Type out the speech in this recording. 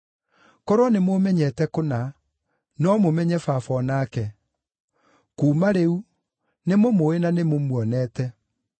Korwo nĩmũũmenyete kũna, no mũmenye Baba o nake. Kuuma rĩu, nĩmũmũĩ na nĩ mũmuonete!”